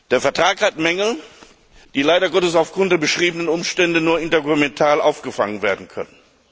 Der Vertrag hat Mängel, die leider Gottes aufgrund der beschriebenen Umstände nur intergouvernemental aufgefangen werden können.